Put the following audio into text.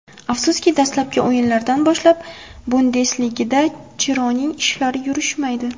Afsuski, dastlabki o‘yinlardan boshlab Bundesligada Chironing ishlari yurishmaydi.